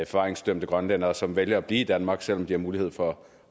forvaringsdømte grønlændere som vælger at blive i danmark selv om de har mulighed for